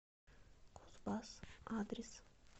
кузбасс адрес